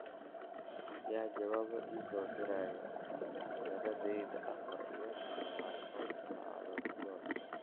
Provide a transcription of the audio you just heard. yaa jawaabo ii soo diray meheradeyda afar iyo labaatan saacadood gudahood